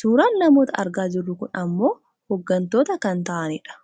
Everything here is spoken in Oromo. Suuraan namoota argaa jirru kun ammoo hooggantoota kan ta'anidha.